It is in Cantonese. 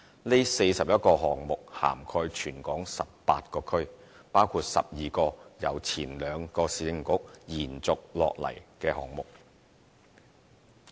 這41個項目涵蓋全港18區，包括12個由兩個前市政局延續下來的項目。